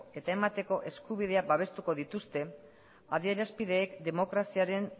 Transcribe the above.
eta emateko eskubidea babestuko dituzte adierazpideek demokraziaren